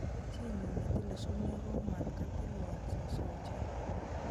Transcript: Chiinyu ne tile sumee ko katilwan soso ochei.